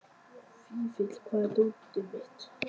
Fífill, hvar er dótið mitt?